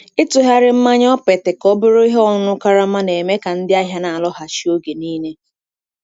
Ịtụgharị mmanya okpete ka ọ bụrụ ihe ọṅụṅụ karama na-eme ka ndị ahịa na-alọghachi oge niile.